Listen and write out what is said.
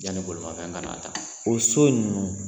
Yanni bolimafɛn ka n'a ta, o so ninnu